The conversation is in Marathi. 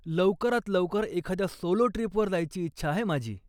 लवकरात लवकर एखाद्या सोलो ट्रीपवर जायची इच्छा आहे माझी.